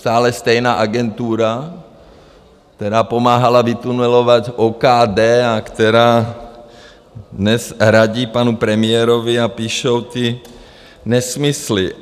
Sále stejná agentura, která pomáhala vytunelovat OKD a která dnes radí panu premiérovi a píšou ty nesmysly.